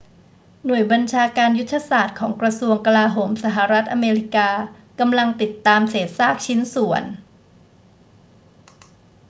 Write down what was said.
หน่วยบัญชาการยุทธศาสตร์ของกระทรวงกลาโหมสหรัฐอเมริกากำลังติดตามเศษซากชิ้นส่วน